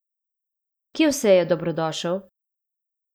Kje vse je dobrodošel?